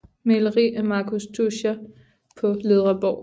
Maleri af Marcus Tuscher på Ledreborg